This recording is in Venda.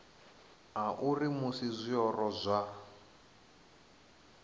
a uri musi zwiori zwa